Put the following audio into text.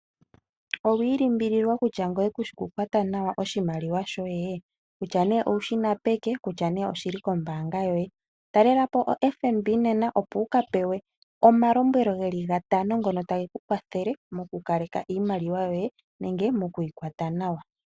Owi ilimbililwa kutya ngoye kushi ku kwata nawa oshimaliwa shoye? Kutya nee owushina peke nenge oshili kombanga yoye. Talelapo ombanga yotango yopashigwana nena opo wuka pewe omalombwelo geli gatano ngono tage ku kwathele moku kaleka iimaliwa yoye nenge moku yi kwata nawa.